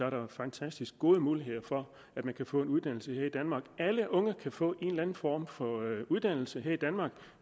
at der er fantastisk gode muligheder for at man kan få en uddannelse her i danmark alle unge kan få en eller anden form for uddannelse her i danmark og